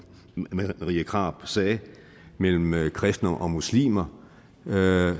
marie krarup sagde mellem mellem kristne og muslimer er jeg